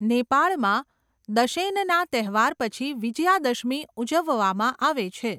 નેપાળમાં દશૈનના તહેવાર પછી વિજયાદશમી ઉજવવામાં આવે છે.